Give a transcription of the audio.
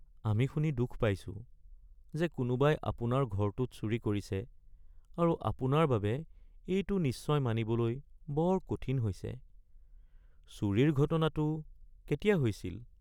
আমি শুনি দুখ পাইছোঁ যে কোনোবাই আপোনাৰ ঘৰটোত চুৰি কৰিছে আৰু আপোনাৰ বাবে এইটো নিশ্চয় মানিবলৈ বৰ কঠিন হৈছে। চুৰিৰ ঘটনাটো কেতিয়া হৈছিল? (পুলিচ)